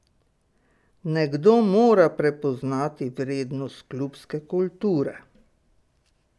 Nekdo mora prepoznati vrednost klubske kulture!